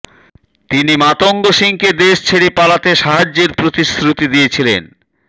তিনি মাতঙ্গ সিংকে দেশ ছেড়ে পালাতে সাহায্যের প্রতিশ্রুতি দিয়েছিলেন